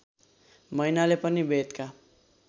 मैनाले पनि वेदका